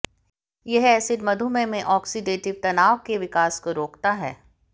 यह एसिड मधुमेह में ऑक्सीडेटिव तनाव के विकास को रोकता है